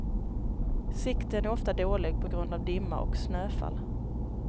Sikten är ofta dålig på grund av dimma och snöfall.